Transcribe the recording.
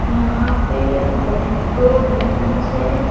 यहां पे एक बें दो बेंच है।